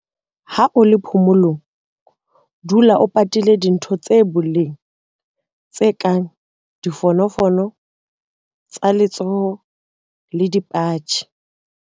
Ha o le phomolong, dula o patile dintho tsa boleng tse kang difonofono tsa letsoho le dipatjhe.